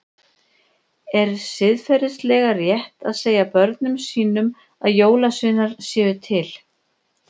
Er siðferðilega rétt að segja börnum sínum að jólasveinar séu til?